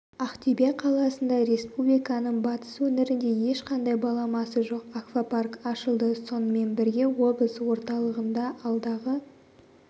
ақтөбе қаласында республиканың батыс өңірінде ешқандай баламасы жоқ аквапарк ашылды сонымен бірге облыс орталығында алдағы